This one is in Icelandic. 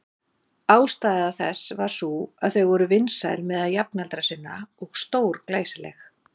Ástæða þess var sú að þau voru vinsæl meðal jafnaldra sinna og stórglæsileg.